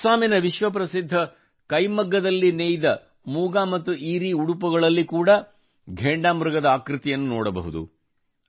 ಅಸ್ಸಾಮಿನ ವಿಶ್ವ ಪ್ರಸಿದ್ಧ ಕೈಮಗ್ಗದಲ್ಲಿ ನೇಯ್ದ ಮೂಗ ಮತ್ತು ಏರಿ ಉಡುಪುಗಳಲ್ಲಿ ಕೂಡಾ ಘೇಂಡಾ ಮೃಗದ ಆಕೃತಿಯನ್ನು ನೋಡಬಹುದು